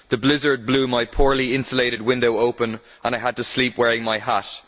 The blizzard blew my very poorly insulated window open and I had to sleep wearing my hat.